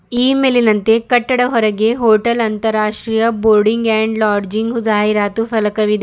ಈ ಮೇಲಿನಂತೆ ಕಟ್ಟಡ ಹೊರಗೆ ಹೋಟೆಲ್ ಅಂತರಾಷ್ಟ್ರೀಯ ಬೋರ್ಡಿಂಗ್ ಅಂಡ್ ಲಾಡ್ಜಿಂಗ್ ಜಾಹೀರಾತು ಫಲಕವಿದೆ.